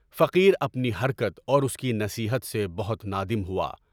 فقیر اپنی حرکت اور اُس کی نصیحت سے بہت نادم ہوا۔